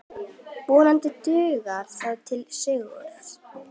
Vonandi dugar það til sigurs.